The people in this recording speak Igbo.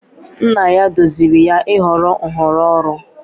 Nna ya duziri ya ịhọrọ nhọrọ ọrụ.